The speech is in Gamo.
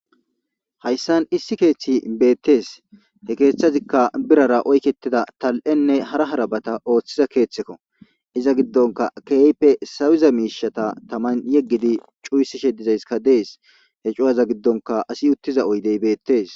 Hayssan issi keththey bettes he keththazikka birrara oykketida tali'enne hara harabata oththiza keththeko iza giddonkka kehippe sawiza mishshatta tamman yeggidi cuisishe dizayssikka dessi he cu'aza giddonkka assi uttiza oyddey bettes.